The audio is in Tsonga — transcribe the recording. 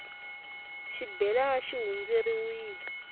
xibelana xi hundzeriwile